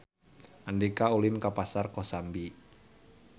Andika ulin ka Pasar Kosambi